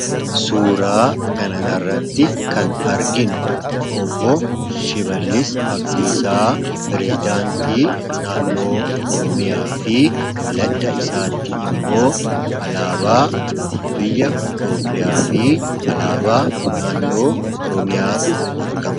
Suuraa kanarratti kan arginu Obboo Shimallis Abdiisaa pireezidaantii naannoo oromiyaa fi ladda isaatti immoo alaabaa biyya itoopiyaa fi alaabaa naannoo oromiyaatu argama.